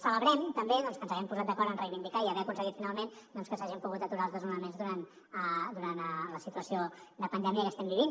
celebrem també doncs que ens haguem posat d’acord en reivindicar i haver aconseguit finalment que s’hagin pogut aturar els desnonaments durant la situació de pandèmia que estem vivint